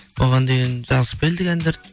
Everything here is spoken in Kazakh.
оған дейін жазып келдік әндерді